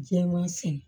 Jɛman fɛn